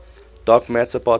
dark matter particles